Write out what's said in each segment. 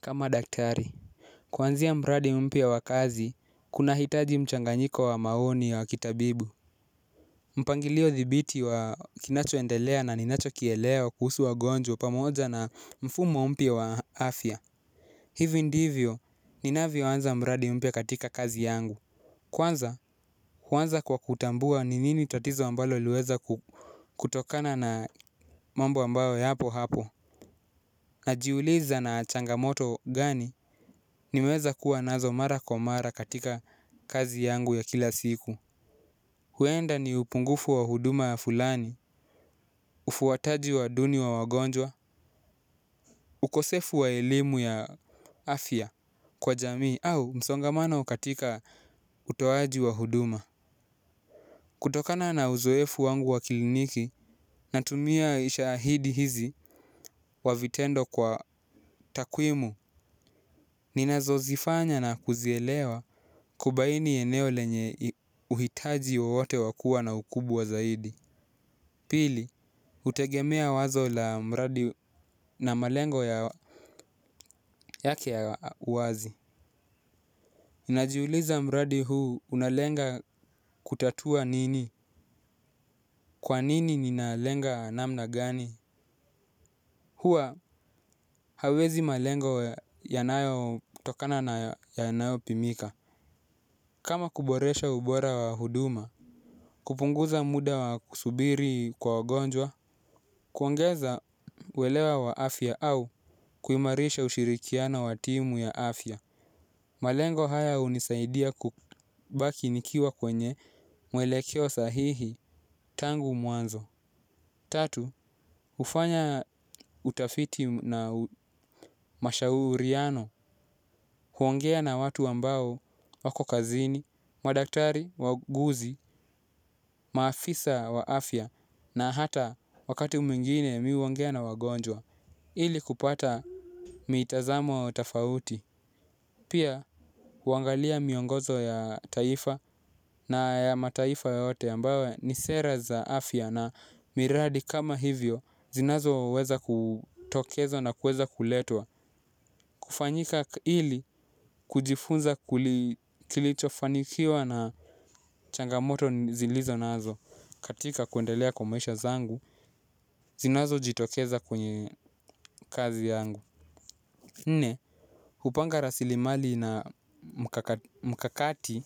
Kama daktari. Kuanzia mradi mpya wa kazi, kunahitaji mchanganyiko wa maoni wa kitabibu. Mpangilio dhibiti wa kinachoendelea na ninacho kielewa kuhusu wagonjwa pamoja na mfumo mpya wa afya. Hivi ndivyo, ninavyo anza mradi mpya katika kazi yangu. Kwanza, huanza kwa kutambua ni nini tatizo ambalo liweza kutokana na mambo ambayo yapo hapo. Najiuliza na changamoto gani niweza kuwa nazo mara kwa mara katika kazi yangu ya kila siku. Huenda ni upungufu wa huduma ya fulani, ufuataji wa duni wa wagonjwa, ukosefu wa elimu ya afya kwa jamii au msongamano katika utoaji wa huduma. Kutokana na uzoefu wangu wa kiliniki, natumia ishahidi hizi wa vitendo kwa takwimu. Ninazo zifanya na kuzielewa kubaini eneo lenye uhitaji wowote wa kuwa na ukubwa zaidi. Pili, utegemea wazo la mradi na malengo yake ya wazi. Najiuliza mradi huu unalenga kutatua nini? Kwa nini ninalenga namna gani? Huwa hauwezi malengo yanayo tokana na yanayo pimika. Kama kuboresha ubora wa huduma, kupunguza muda wa kusubiri kwa wagonjwa, kuongeza uwelewa wa afya au kuimarisha ushirikiano wa timu ya afya. Malengo haya unisaidia kubaki nikiwa kwenye mwelekeo sahihi tangu mwanzo. Tatu, hufanya utafiti na mashauriano huongea na watu ambao wako kazini, madaktari, wauguzi, maafisa wa afya na hata wakati mwingine mi huongea na wagonjwa ili kupata mitazamo wa utafauti. Pia huwangalia miongozo ya taifa na mataifa yote ambayo ni sera za afya na miradi kama hivyo zinazo weza kutokezwa na kuweza kuletwa. Kufanyika ili kujifunza kilichofanikiwa na changamoto zilizonazo katika kuendelea kwa maisha zangu zinazo jitokeza kwenye kazi yangu. Nne, hupanga rasilimali na mkakati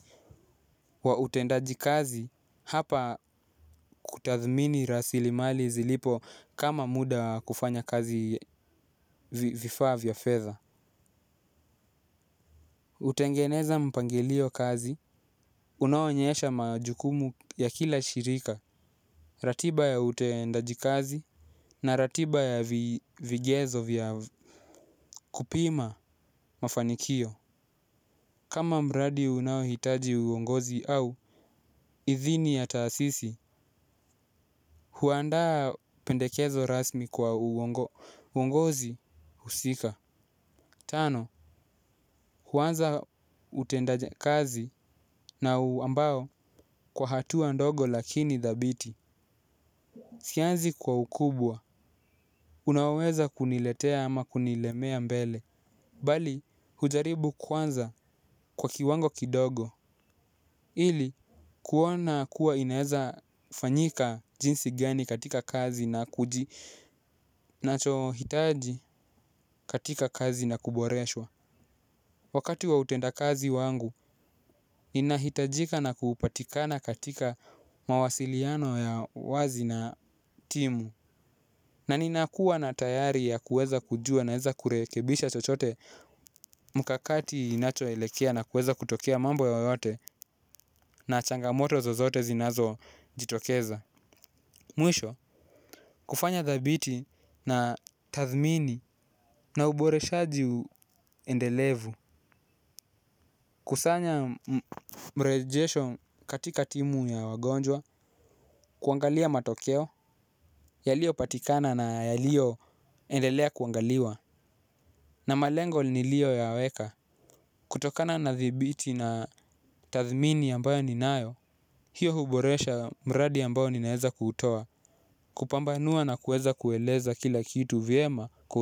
wa utendaji kazi hapa kutathmini rasilimali zilipo kama muda wa kufanya kazi vifaa vya fedha. Utengeneza mpangilio kazi, unaonyesha majukumu ya kila shirika, ratiba ya utendaji kazi na ratiba ya vigezo vya kupima mafanikio. Kama mradi unaohitaji uongozi au, idhini ya taasisi, huandaa pendekezo rasmi kwa uongozi husika. Tano, huanza utendaje kazi na ambao kwa hatua ndogo lakini dhabiti. Sianzi kwa ukubwa, unaoweza kuniletea ama kunilemea mbele. Bali, hujaribu kuanza kwa kiwango kidogo. Hili kuona kuwa inaeza fanyika jinsi gani katika kazi na kuji nacho hitaji katika kazi na kuboreshwa. Wakati wa utenda kazi wangu ninahitajika na kupatikana katika mawasiliano ya wazi na timu na ninakuwa na tayari ya kuweza kujua naeza kurekebisha chochote mkakati inacho elekea na kuweza kutokea mambo yoyote na changamoto zozote zinazo jitokeza. Mwisho, kufanya dhabiti na tathmini na uboreshaji uendelevu. Kusanya mrejesho katika timu ya wagonjwa. Kuangalia matokeo, yalio patikana na yalio endelea kuangaliwa na malengo nilio yaweka kutokana na dhibiti na tathmini ambayo ninayo. Hiyo huboresha mradi ambayo ninaeza kuutowa. Kupambanua na kuweza kueleza kila kitu vyema ku.